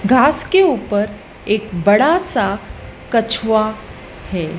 घास के ऊपर एक बड़ा सा कछुआ है।